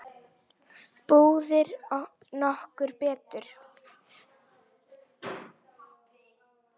Býður nokkur betur?